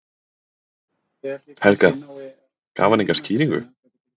Helga: Gaf hann enga skýringu?